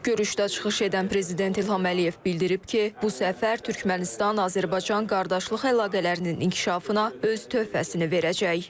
Görüşdə çıxış edən Prezident İlham Əliyev bildirib ki, bu səfər Türkmənistan-Azərbaycan qardaşlıq əlaqələrinin inkişafına öz töhfəsini verəcək.